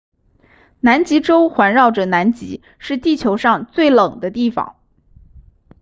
南极洲环绕着南极是地球上最冷的地方